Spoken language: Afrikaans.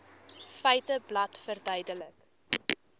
feiteblad verduidelik